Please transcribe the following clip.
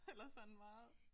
Eller sådan meget